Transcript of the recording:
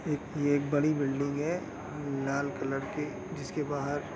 एक ये बड़ी बिल्डिंग है लाल कलर की जिसके बाहर--